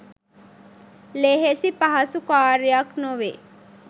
ලෙහෙසි පහසු කාර්යයක් නොවේ.